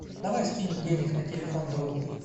давай скинем денег на телефон другу